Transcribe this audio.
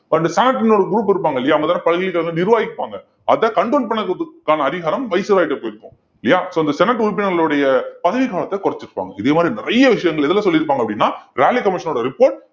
அந்த senate ன்னு ஒரு group இருப்பாங்க இல்லையா அவங்கதானே பல்கலைக்கழகத்தை வந்து நிருவகிப்பாங்க அதை control பண்றதுக்கான அதிகாரம் கிட்ட போயிருக்கும். இல்லையா so இந்த senate உறுப்பினர்களுடைய பதவி காலத்தை குறைச்சிருப்பாங்க இதே மாதிரி நிறைய விஷயங்கள் எதுல சொல்லியிருப்பாங்க அப்படின்னா ராலே commission ஓட report